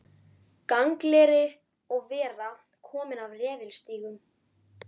Gangleri og vera kominn af refilstígum.